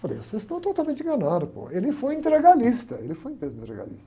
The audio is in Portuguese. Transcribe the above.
Eu falei, vocês estão totalmente enganados, pô, ele foi integralista, ele foi integralista.